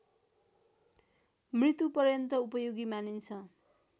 मृत्युपर्यन्त उपयोगी मानिन्छ